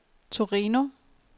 Torino